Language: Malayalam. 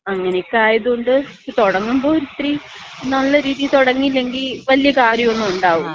അങ്ങനെക്ക ആയതുകൊണ്ട് തുടങ്ങുമ്പോ ഒരിത്തിരി നല്ല രീതിയില് തുടങ്ങിയില്ലെങ്കി വലിയ കാര്യോന്നും ഉണ്ടാവില്ല.